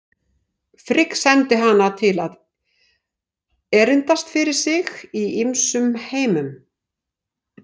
Frigg sendi hana til að erindast fyrir sig í ýmsum heimum.